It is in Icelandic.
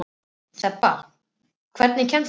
Þeba, hvernig kemst ég þangað?